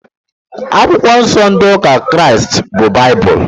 Akwụkwọ nsó ndị ụka Kraịst bú baibulu.